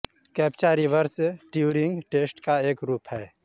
captcha reverse Turing test का एक रूप है